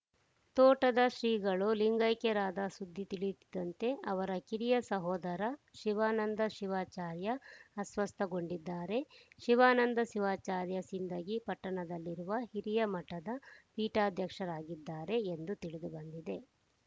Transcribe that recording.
ತೋಟದ ಶ್ರೀಗಳು ಲಿಂಗೈಕ್ಯರಾದ ಸುದ್ದಿ ತಿಳಿಯುತ್ತಿದ್ದಂತೆ ಅವರ ಕಿರಿಯ ಸಹೋದರ ಶಿವಾನಂದ ಶಿವಾಚಾರ್ಯ ಅಸ್ವಸ್ಥಗೊಂಡಿದ್ದಾರೆ ಶಿವಾನಂದ ಶಿವಾಚಾರ್ಯ ಸಿಂದಗಿ ಪಟ್ಟಣದಲ್ಲಿರುವ ಹಿರಿಯ ಮಠದ ಪೀಠಾಧ್ಯಕ್ಷರಾಗಿದ್ದಾರೆ ಎಂದು ತಿಳಿದುಬಂದಿದೆ